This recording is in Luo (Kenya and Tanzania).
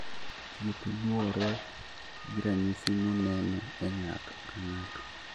Thieth luore gi ranyisi moneno e ng'ato ka ng'ato